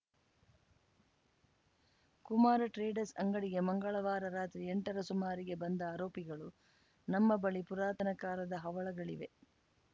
Kumara traders ಅಂಗಡಿಗೆ ಮಂಗಳವಾರ ರಾತ್ರಿ ಎಂಟರ ಸುಮಾರಿಗೆ ಬಂದ ಆರೋಪಿಗಳು ನಮ್ಮ ಬಳಿ ಪುರಾತನ ಕಾಲದ ಹವಳಗಳಿವೆ